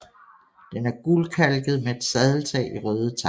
Den er gulkalket med et sadeltag i røde tegl